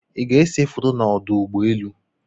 Ị́ ga-ese foto na ọdụ ụgbọelu?